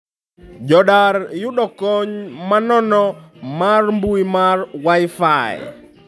Jo Dar yudo kony manono mar mbui mar wi-fi